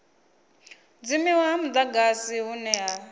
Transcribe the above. dzimiwa ha mudagasi hune ha